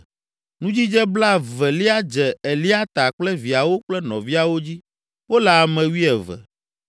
Nudzidze blaevelia dze Eliata kple viawo kple nɔviawo dzi; wole ame wuieve.